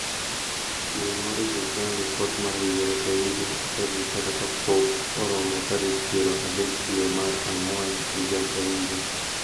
Chiwo nw registrar lipot mar higa ka higa e tarik kata kapok oromo tarik piero adek dwee mar ang'wen higa kahiga.